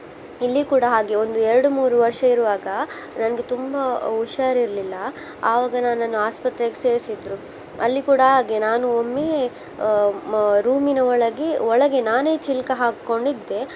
ಇಲ್ಲಿ ಕೂಡಾ ಹಾಗೆ ಒಂದು ಏರಡ್ ಮೂರು ವರ್ಷ ಇರುವಾಗ ನಂಗೆ ತುಂಬಾ ಹುಷಾರ್ ಇರ್ಲಿಲ್ಲಾ ಆವಾಗ ನನ್ನನ್ನು ಆಸ್ಪತ್ರೆಗೆ ಸೇರ್ಸಿದ್ರು. ಅಲ್ಲಿ ಕೂಡಾ ಹಾಗೆ ನಾನು ಒಮ್ಮೆ ಆ room ನ ಒಳಗೆ ಒಳಗೆ ನಾನೇ ಚಿಲಕಾ ಹಾಕ್ಕೊಂಡಿದ್ದೆ.